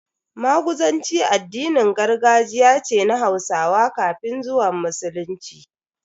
Maguzanci addinin gargajiya ce na Hausawa kafin zuwan Musulunci.